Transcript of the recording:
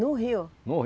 No rio?